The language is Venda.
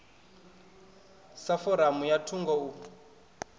sa foramu ya thungo u